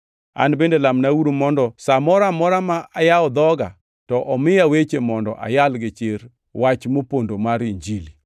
An bende lamnauru mondo sa moro amora ma ayawo dhoga to omiya weche mondo ayal gichir wach mopondo mar Injili,